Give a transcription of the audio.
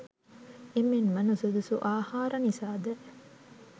එමෙන්ම නුසුදුසු ආහාර නිසා ද